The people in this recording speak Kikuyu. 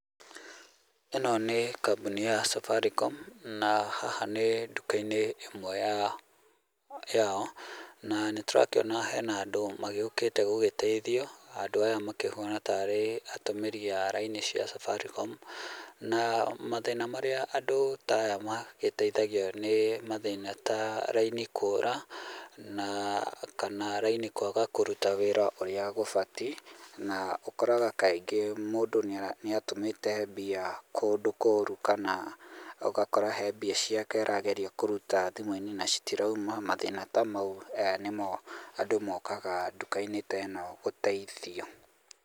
Ĩno nĩ kambuni ya Safaricom na haha nĩ duka-inĩ ĩmwe ya yao na nĩ tũrakĩona hena andũ magĩũkĩte gũgĩteithio andũ aya makĩhuana tarĩ atũmĩri a laini cia Safaricom na mathĩna marĩa andũ ta aya magĩteithagio nĩ mathĩna ta raini kũra na kana raini kũruta wĩra ũrĩa gũbatie na ũkoraga kaingĩ mũndũ nĩ atũmĩte mbia kũndũ kũru kana ũgakora he mbia ciake arageria kũruta mbia ciake na citirauma mathĩna ta mau nĩmo andũ mokaga duka-inĩ teno gũteithio.